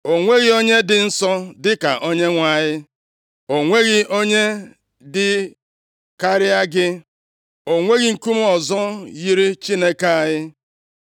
“O nweghị onye dị nsọ dịka Onyenwe anyị; o nweghị onye dị karịa gị, o nweghị nkume ọzọ yiri Chineke anyị.